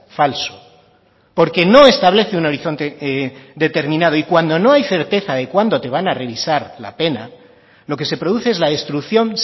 falso porque no establece un horizonte determinado y cuando no hay certeza de cuando te van a revisar la pena lo que se produce es la destrucción